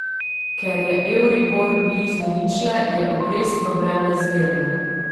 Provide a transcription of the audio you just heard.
Ker je euribor blizu ničle, je obrestno breme zmerno.